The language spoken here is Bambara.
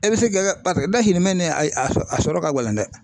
E bɛ se kɛ dahirimɛ a sɔrɔ a sɔrɔ ka gɛlɛn dɛ